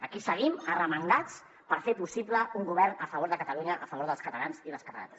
aquí seguim arremangats per fer possible un govern a favor de catalunya a favor dels catalans i les catalanes